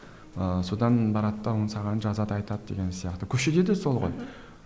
ыыы содан барады да ол саған жазады айтады деген сияқты көшеде де сол ғой